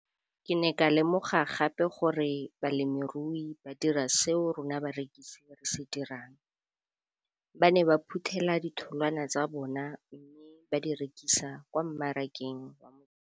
Ke ne ka lemoga gape gore balemirui ba dira seo rona barekisi re se dirang, ba ne ba phuthela ditholwana tsa bona mme ba di rekisa kwa marakeng wa Motsekapa.